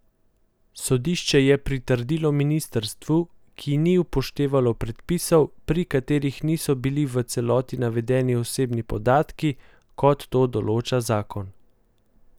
Sodišče je pritrdilo ministrstvu, ki ni upoštevalo podpisov, pri katerih niso bili v celoti navedeni osebni podatki, kot to določa zakon.